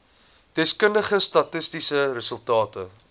deskundige statistiese resultate